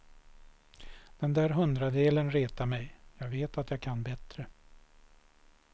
Den där hundradelen retar mig, jag vet att jag kan bättre.